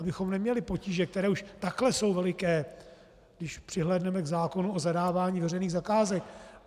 Abychom neměli potíže, které už takhle jsou veliké, když přihlédneme k zákonu o zadávání veřejných zakázek.